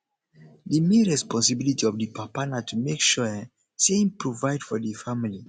di main responsibility of di papa na to make sure um sey im provide for di family